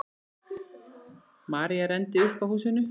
María renndi upp að húsinu.